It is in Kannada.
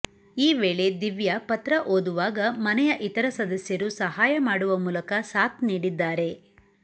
ಈ ವೇಳೆ ದಿವ್ಯಾ ಪತ್ರ ಓದುವಾಗ ಮನೆಯ ಇತರ ಸದಸ್ಯರು ಸಹಾಯ ಮಾಡುವ ಮೂಲಕ ಸಾಥ್ ನೀಡಿದ್ದಾರೆ